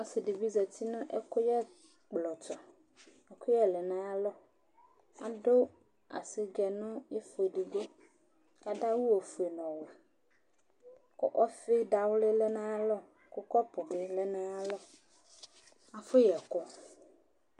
Ɔsɩ dɩ bɩ zati nʋ ɛkʋyɛblɔ tʋ Ɛkʋyɛ lɛ nʋ ayalɔ Adʋ asɩgɛ nʋ ɩfɔ edigbo kʋ adʋ awʋ ofue nʋ ɔwɛ kʋ ɔfɩ dawlɩ lɛ nʋ ayalɔ, kɔpʋ bɩ lɛ nʋ ayalɔ, afɔyɛ ɛkʋ